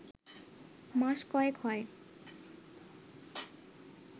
মাস কয়েক হয়